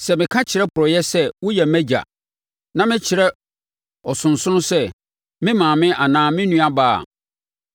sɛ meka kyerɛ porɔeɛ sɛ, ‘Woyɛ mʼagya,’ na me kyerɛ ɔsonsono sɛ, ‘Me maame’ anaa ‘Me nuabaa’ a,